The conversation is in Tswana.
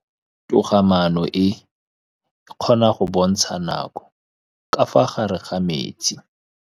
Toga-maanô e, e kgona go bontsha nakô ka fa gare ga metsi.